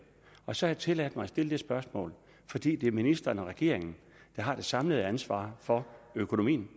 og så har jeg tilladt mig at stille det spørgsmål fordi det er ministeren og regeringen der har det samlede ansvar for økonomien